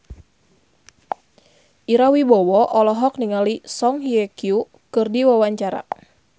Ira Wibowo olohok ningali Song Hye Kyo keur diwawancara